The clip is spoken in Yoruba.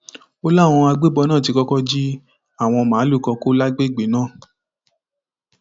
ó láwọn agbébọn náà ti kọkọ jí àwọn màálùú kan kó lágbègbè náà